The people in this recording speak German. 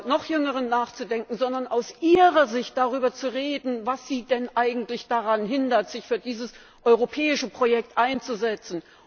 noch Jüngeren, nachzudenken, sondern aus ihrer Sicht darüber zu reden, was sie denn eigentlich daran hindert, sich für dieses europäische Projekt einzusetzen.